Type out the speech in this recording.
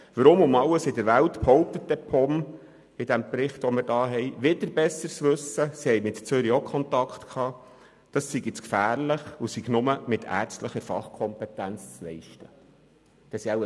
Weshalb kommt die POM im vorliegenden Bericht also zum Schluss, eine Ausnüchterungsstelle sei zu gefährlich und lediglich mit ärztlicher Fachkompetenz zu betreiben?